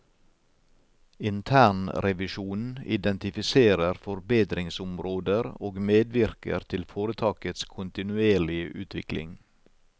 Internrevisjonen identifiserer forbedringsområder og medvirker til foretakets kontinuerlige utvikling.